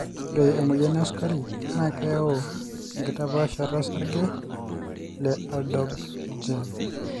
ore emoyian e sukari naa keyau enkitapaashata osarge le ALDOB gene